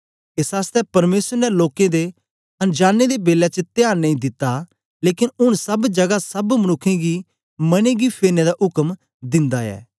एस आसतै परमेसर ने लोकें दे अन जानें दे बेलै च त्यान नेई दिता लेकन ऊन सब जगा सब मनुक्खें गी मने गी फेरने दा उक्म दिन्दा ऐ